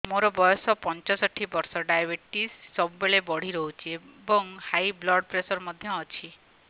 ମୋର ବୟସ ପଞ୍ଚଷଠି ବର୍ଷ ଡାଏବେଟିସ ସବୁବେଳେ ବଢି ରହୁଛି ଏବଂ ହାଇ ବ୍ଲଡ଼ ପ୍ରେସର ମଧ୍ୟ ଅଛି